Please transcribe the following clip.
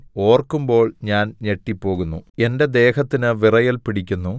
ഓർക്കുമ്പോൾ ഞാൻ ഞെട്ടിപ്പോകുന്നു എന്റെ ദേഹത്തിന് വിറയൽ പിടിക്കുന്നു